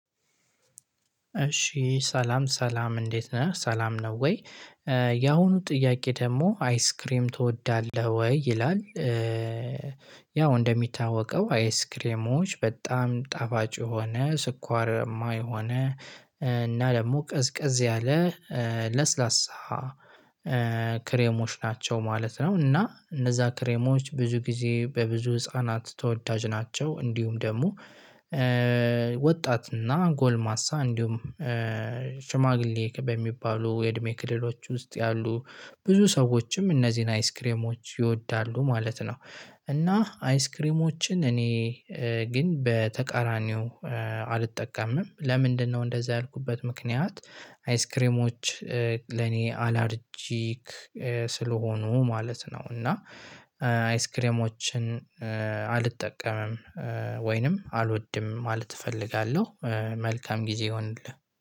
እሺ ሰላም ሰላም እንዴት ነህ ሰላም ነው ወይ ያሁኑ ጥያቄ ደግሞ አይስክሬም ትወዳለህ ወይ ይላል? ያው እንደሚታወቀው አይስክሬሞች በጣም ጠባጭ የሆነ ስኳር የማይ የሆነ እና ደግሞ ቅዝቅዝ ያለ ለስላሳ ክሬሞች ናቸው ማለት ነው። እና እነዛ ክሬሞች ብዙ ጊዜ በብዙ ህፃናት ተወዳጅ ናቸው እንዲሁም ደግሞ ወጣትና ጎልማሳ እንዲሁም ሽማግሌ በሚባሉ የእድሜ ክልሎች ውስጥ ያሉ ብዙ ሰዎችም እነዚህን አይስክሬሞች ይወዳሉ ማለት ነው። እና አይስክሬሞችን እኔ ግን በተቃራኒው አልጠቀምም ለምንድነው? እንደዛ ያልኩበት ምክንያት አይስክሬሞች ለኔ አላርጂክ ስለሆኑ ማለት ነው። እና አይስክሬሞችን አልጠቀምም ወይንም አልወድም ማለት እፈልጋለሁ። መልካም ጊዜ ይሁንልህ